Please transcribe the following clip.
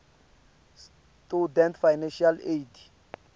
student financial aid